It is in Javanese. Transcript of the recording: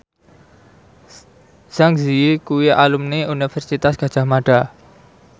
Zang Zi Yi kuwi alumni Universitas Gadjah Mada